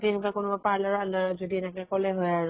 সেনেকুৱা যদি কোনোবা parlour পালো হয়, যদি এনেকুৱা কলে হয় আৰু